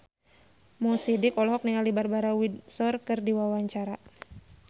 Mo Sidik olohok ningali Barbara Windsor keur diwawancara